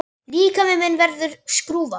Líkami minn verður skrúfa.